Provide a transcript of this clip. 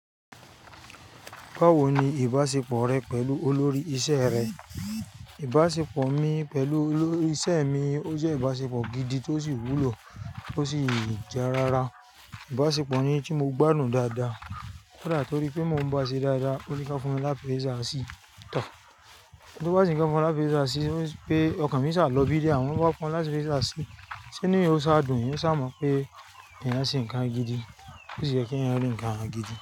Báwo ni ìbáṣepọ̀ rẹ pẹ̀lú olórí iṣẹ́ rẹ? Ìbáṣepọ̀ mi pẹ̀lú olórí iṣẹ́ mi, ó jẹ́ ìbáṣepọ̀ gidi tó sì wúlò tó sì ja rara. Ìbáṣepọ̀ ni tí mo gbádùn dáadáa. Koda, tó rí pé mò ń bá a ṣe dáadáa, ó ní ká fún mi ni appraisal sí. Tọo. Torí pé ó bá ṣe ń fún mi lápé eèsà sí, pé ọkàn mi sá lọ bíi dé, àwọn bá fún un lápé eèsà sí, ṣe ní ó sá dùn, yóò sá mọ̀ pé ènìyàn ṣì ń kan gidi. Ó sì jẹ́ kí ẹ̀yin olùyọ̀n kan gidi.